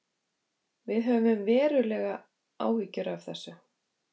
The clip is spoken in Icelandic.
Við höfum verulegar áhyggjur af þessu